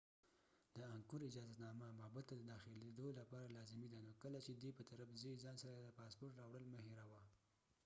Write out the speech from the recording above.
د انګکور اجازتنامه معبد ته دداخلیدو لپاره لازمي ده نو کله چې د tonle sap په طرف ځې ځان سره د پاسپورت راوړل مه هیروه